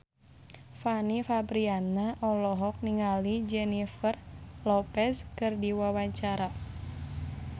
Fanny Fabriana olohok ningali Jennifer Lopez keur diwawancara